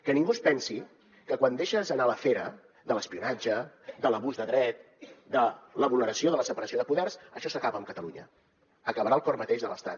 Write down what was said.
que ningú es pensi que quan deixes anar la fera de l’espionatge de l’abús de dret de la vulneració de la separació de poders això s’acaba amb catalunya acabarà al cor mateix de l’estat